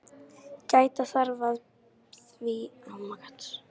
Gæta þarf að því að bæði kynin eigi jafnmarga fulltrúa í hópnum.